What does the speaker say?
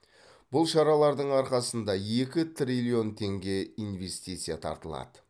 бұл шаралардың арқасында екі триллион теңге инвестиция тартылады